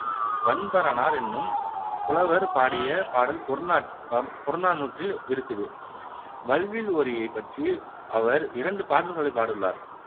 வன்பரணார் என்னும் புலவர் பாடிய பாடல் புறநானூற்றில் இருக்குது வல்வில் ஓரியைப் பற்றி அவர் இரண்டு பாடல்கள் பாடியுள்ளார்